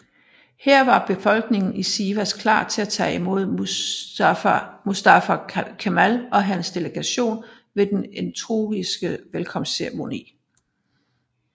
Her var befolkningen i Sivas klar til at tage imod Mustafa Kemal og hans delegation ved en entusiastisk velkomstceremoni